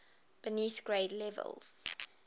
beneath grade levels